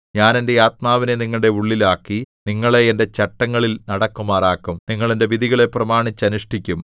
ഞാൻ എന്റെ ആത്മാവിനെ നിങ്ങളുടെ ഉള്ളിൽ ആക്കി നിങ്ങളെ എന്റെ ചട്ടങ്ങളിൽ നടക്കുമാറാക്കും നിങ്ങൾ എന്റെ വിധികളെ പ്രമാണിച്ച് അനുഷ്ഠിക്കും